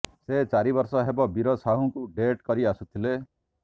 ସେ ଚାରି ବର୍ଷ ହେବ ବୀର ସାହୁଙ୍କୁ ଡେଟ୍ କରି ଆସୁଥିଲେ